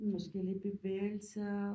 Forskellige bevægelser